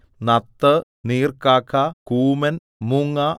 നത്ത് നീർക്കാക്ക കൂമൻ മൂങ്ങ